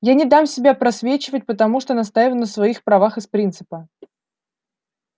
я не дам себя просвечивать потому что настаиваю на своих правах из принципа